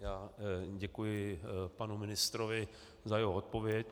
Já děkuji panu ministrovi za jeho odpověď.